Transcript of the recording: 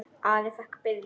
Ari fékk Birni bréfin.